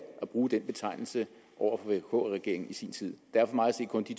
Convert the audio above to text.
at bruge den betegnelse over for vk regeringen i sin tid der er for mig at se kun de